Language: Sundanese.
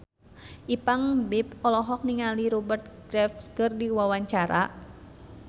Ipank BIP olohok ningali Rupert Graves keur diwawancara